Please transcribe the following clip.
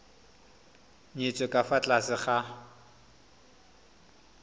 nyetswe ka fa tlase ga